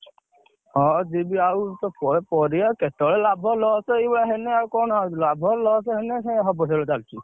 ହଁ, ଯିବି ଆଉ ପରିବା କେତେବେଳେ ଲାଭ loss ଏଇଭଳିଆ ହେଲେ ଆଉ କଣ ଆଉ ଲାଭ loss ହେଲେ ହବ ସେଇଆ ଚାଲିଛି।